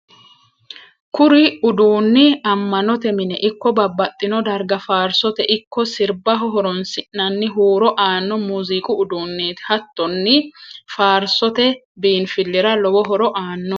kuri uduunni amanote mine ikko babbaxino darga faarisote ikko sirbaho horoonsi'nanni huuro aanno muziqu uduneeti. hattonni faarisote biinfilira lowo horo aanno.